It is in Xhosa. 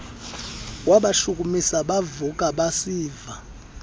wabashukumisa bavuka basiva